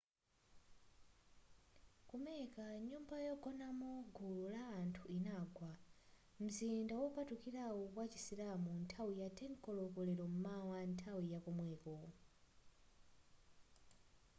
ku mecca nyumba yogonamo gulu la anthu inagwa m'mzinda wopatulikawu wa chisilamu nthawi yama 10 koloko lero m'mawa nthawi yakomweko